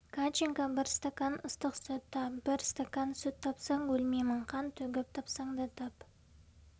катченко бір стакан ыстық сүт тап бір стакан сүт тапсаң өлмеймін қан төгіп тапсаң да тап